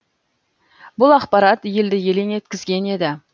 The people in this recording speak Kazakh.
бұл ақпарат елді елең еткізген еді